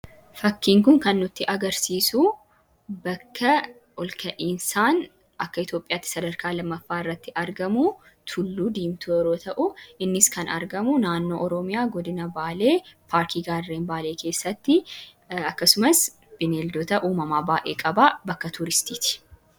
fakkiinkun kan nutti agarsiisu bakka olka'iisaan akka itioophiyaatti sadarkaa 2ffaa irratti argamu tulluu diimtuu yeroo ta'u innis kan argamu naannoo oroomiyaa godina baalee faarkii gaarren baalee keessatti akkasumas bineeldoo ta uumamaa baa'ee qabaa bakka tuuristiiti